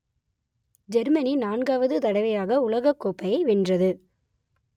Germany நான்காவது தடவையாக உலகக்கோப்பையை வென்றது